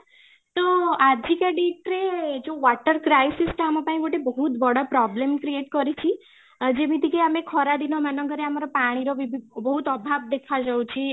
ତ ଆଜିକା date ରେ ଯୋଉ water crisis ଟା ଆମ ପାଇଁ ଗୋଟେ ବହୁତ ବଡ problem create କରିଛି ଆଉ ଯେମିତି କି ଆମେ ଖରା ଦିନ ମାନଙ୍କରେ ଆମର ପାଣିର ବହୁତ ଅଭାବ ଦେଖା ଯାଉଛି